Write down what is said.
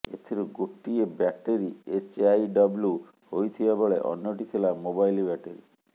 ଏଥିରୁ ଗୋଟିଏ battery HIW ହୋଇଥିବା ବେଳେ ଅନ୍ୟଟି ଥିଲା ମୋବାଇଲ ବ୍ୟାଟେରି